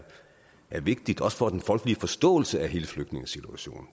vigtigt også for den folkelige forståelse af hele flygtningesituationen